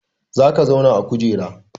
Za ka zauna a kujera!